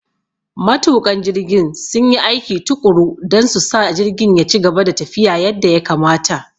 Matuƙan jirgin sun yi aiki tuƙuru don su sa jirgin ya ci gaba da tafiya yadda ya kamata.